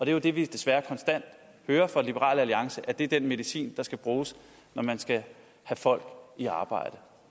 er jo det vi desværre konstant hører fra liberal alliance altså at det er den medicin der skal bruges når man skal have folk i arbejde